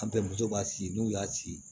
An bɛ muso b'a si n'u y'a ci